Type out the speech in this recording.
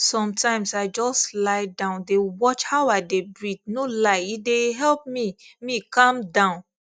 sometimes i just lie down dey watch how i dey breathe no lie e dey help me me calm down